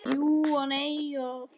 Jú og nei og þó.